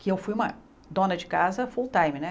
Que eu fui uma dona de casa full time, né?